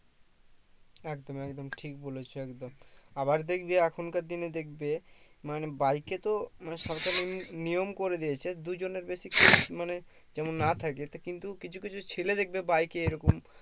একদম একদম ঠিক বলেছো একদম আবার দেখবে এখনকার দিনে দেখবে মানে bike এ তো মানে সরকার এমনি নিয়ম করে দিয়েছে দুই জনের বেশি মানে কেও না থাকে কিন্তু কিছু কিছু ছেলে দেখবে bike এ এরকম